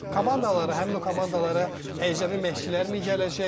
Komandalara, həmin o komandalara əcnəbi məşqçilər gələcəkmi?